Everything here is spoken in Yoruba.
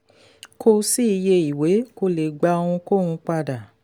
kò sí iye ìwé kò le gba ohunkóhun padà.